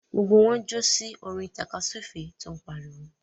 Gbogbo wọn ń jó sí orin tàkasúfèé tó ń pariwo.